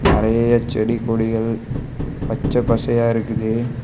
நெறய செடி கொடிகள் பச்சை பசயா இருக்குது.